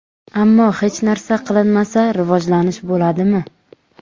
Ammo hech narsa qilinmasa, rivojlanish bo‘ladimi?